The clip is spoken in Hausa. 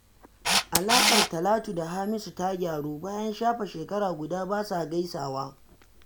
Alaƙar Talatu da Hamisu ta ƙaru, bayan shafe shekara guda ba sa gaisawa